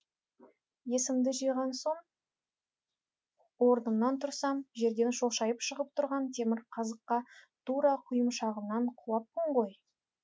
есімді жиған соң орнымнан тұрсам жерден шошайып шығып тұрған темір қазыққа тура құйымшағыммен құлаппын ғой